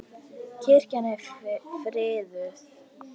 Kirkjan er friðuð.